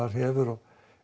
hefur